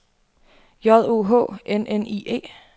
J O H N N I E